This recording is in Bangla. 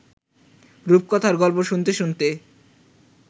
রূপকথার গল্প শুনতে শুনতে